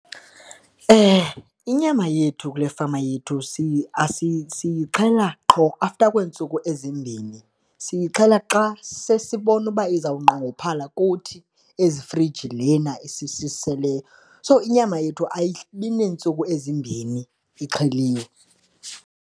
Inyama yethu kule fama yethu siyixhela qho after kweentsuku ezimbini, siyixhela xa sesibona uba izawunqongophala kuthi ezifrijini lena isiseleyo. So, inyama yethu ayibi neentsuku ezimbini ixheliweyo.